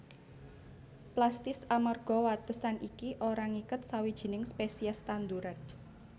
Plastis amarga watesan iki ora ngiket sawijining spesies tanduran